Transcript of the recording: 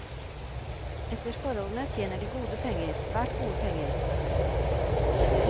Etter forholdene tjener de gode penger, svært gode penger.